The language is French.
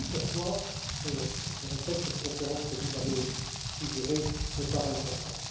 C'est aussi pourquoi je répète que cette conférence que vous avez suggérée, me paraît importante.